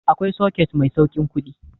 Akwai soket mai sauƙin kuɗi